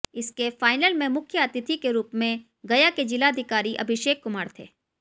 इसके फाइनल में मुख्य अतिथि के रूप में गया के जिलाधिकारी अभिषेक कुमार थें